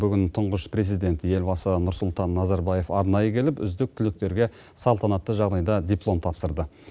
бүгін тұңғыш президент елбасы нұрсұлтан назарбаев арнайы келіп үздік түлектерге салтанатты жағдайда диплом тапсырды